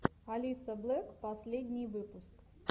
алисаблэк последний выпуск